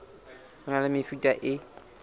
ho na le mefuta e